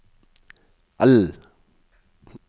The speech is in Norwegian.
L